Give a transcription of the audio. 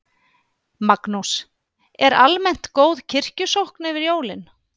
Magnús: Er almennt góð kirkjusókn yfir jólin?